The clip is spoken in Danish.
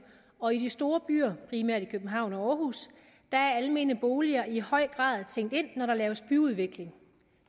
og i de store byer primært københavn og århus er almene boliger i høj grad tænkt ind når der laves byudvikling